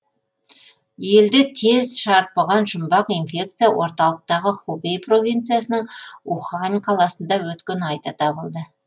елді тез шарпыған жұмбақ инфекция орталықтағы хубей провинциясының ухань қаласында өткен айда табылды